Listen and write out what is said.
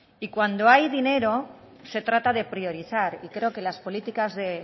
y cuando hay dinero se trata de priorizar y creo que las políticas de